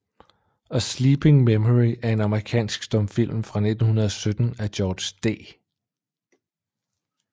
A Sleeping Memory er en amerikansk stumfilm fra 1917 af George D